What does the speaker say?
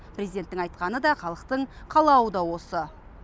президенттің айтқаны да халықтың қалауы да осы